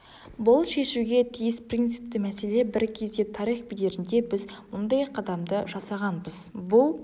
бұл шешуге тиіс принципті мәселе бір кезде тарих бедерінде біз мұндай қадамды жасағанбыз бұл